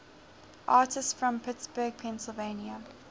artists from pittsburgh pennsylvania